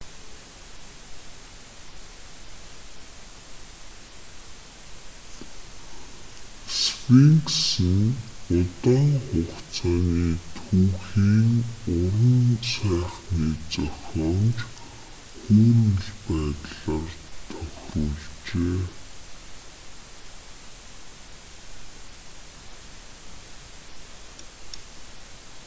сфинкс нь удаан хугацааны түүхийн уран сайхны зохиомж хүүрнэл байдлаар тохируулжээ